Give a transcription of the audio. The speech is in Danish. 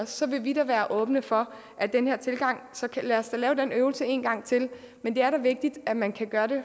så vil vi da være åbne for den her tilgang så lad os da lave den øvelse en gang til men det er da vigtigt at man kan gøre det